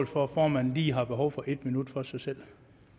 for at formanden lige har behov for et minut for sig selv